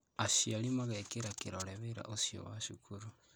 Aciari magekira kĩrore wĩra ũcio wa cukuru